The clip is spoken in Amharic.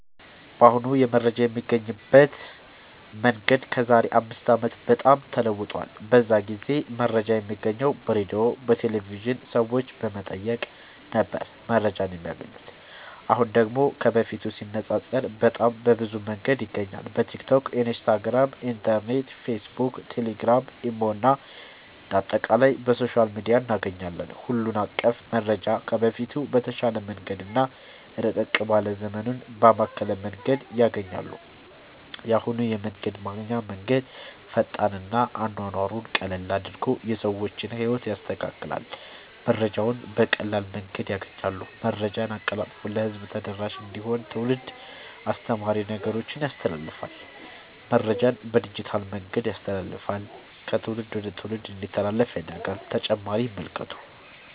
በአሁኑ የመረጃ የሚገኝበት መንገድ ከዛሬ አምስት አመት በጣም ተለውጧል። በዛ ጊዜ መረጃ የሚገኘው በሬድዮ፣ በቴሌቭዥን፣ ሰዎች በመጠየቅ ነበር መረጃን የማያገኙት። አሁን ደግሞ ከበፊቱ ሲነፃፀር በጣም በብዙ መንገድ ይገኛል በቲክቶክ፣ ኢንስታግራም፣ ኢንተርኔት፣ ፌስብክ፣ ቴሌግራም፣ ኢሞ እና አንደ አጠቃላይ በሶሻል ሚዲያ እናገኛለን ሁሉን አቀፍ መረጃ ከበፊቱ በተሻለ መንገድ እና ረቀቅ ባለ ዘመኑን ባማከለ መንገድ ያገኛሉ። የአሁኑ የመረጃ ማግኛ መንገድ ፈጣን እና አኗኗሩን ቀለል አድርጎ የሰዎችን ህይወት ያስተካክላል መረጃውን በቀላል መንገድ ያገኛሉ። መረጃን አቀላጥፎ ለህዝብ ተደራሽ እንዲሆን ትውልድ አስተማሪ ነገሮችን ያስተላልፍል። መረጃን በዲጂታል መንገድ ያስተላልፍል ከትውልድ ወደ ትውልድ እንዲተላለፍ ያደርጋል…ተጨማሪ ይመልከቱ